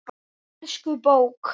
Elsku bók!